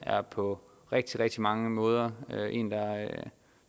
på rigtig rigtig mange måder